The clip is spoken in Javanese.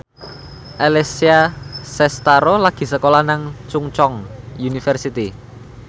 Alessia Cestaro lagi sekolah nang Chungceong University